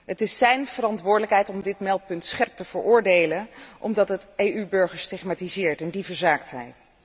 Het is zijn verantwoordelijkheid om dit meldpunt scherp te veroordelen, omdat het EU burgers stigmatiseert, en die verzaakt hij.